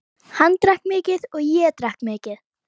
Hann drakk mikið og ég drakk mikið.